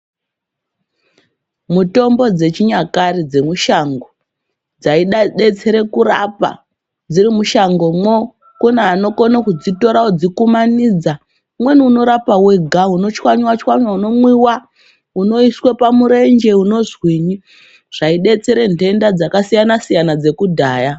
Mutombo dzechinyakare dzemushango dzaidetsere kurapa dziri mushangomwo, kune anokona kudzitora odzikumanidza. Umweni unorapa wega, unotswanywa, unomwiwa, unoiswe pamurenje umozwinywi zvadetsera ntenda dzakasiyana dzekudhaya.